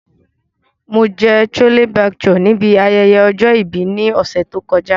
Mo jẹ Chole Bhature nibi ayẹyẹ ọjọ-ibi ni ọsẹ to kọja.